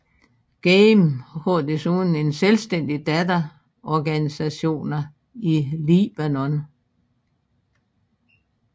GAME har desuden en selvstændig datter organisationer i Libanon